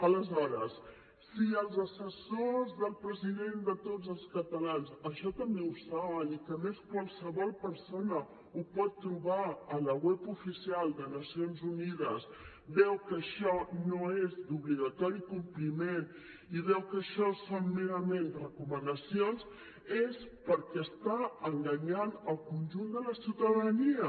aleshores si els assessors del president de tots els catalans això també ho saben i a més qualsevol persona ho pot trobar a la web oficial de nacions unides veuen que això no és d’obligat compliment i veuen que això són merament recomanacions és perquè estan enganyant el conjunt de la ciutadania